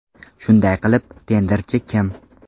Shunday qilib, tenderchi kim?